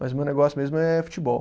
Mas o meu negócio mesmo é futebol.